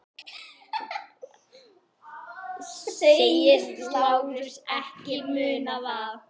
Segist Lárus ekki muna það.